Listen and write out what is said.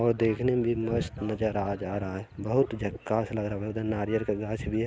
और देखने में भी मस्त नज़र आ जा रहा है बहुत झाकस लग रहा है नरियाल का घांस भी है।